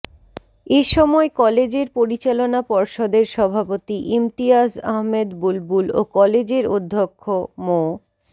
এ সময় কলেজের পরিচালনা পর্ষদের সভাপতি ইমতিয়াজ আহমেদ বুলবুল ও কলেজের অধ্যক্ষ মো